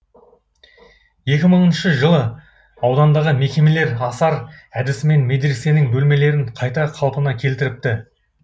екі мыңыншы жылы аудандағы мекемелер асар әдісімен медресенің бөлмелерін қайта қалпына келтіріпті